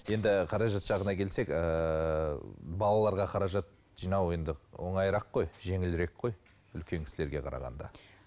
енді қаражат жағына келсек ыыы балаларға қаражат жинау енді оңайырақ қой жеңілірек қой үлкен кісілерге қарағанда